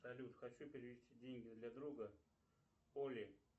салют хочу перевести деньги для друга оли